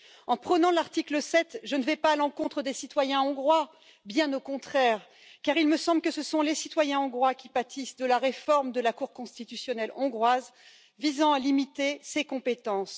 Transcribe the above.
En prônant l'article 7, je ne vais pas à l'encontre des citoyens hongrois, bien au contraire, car il me semble que ce sont les citoyens hongrois qui pâtissent de la réforme de la Cour constitutionnelle hongroise visant à limiter ses compétences.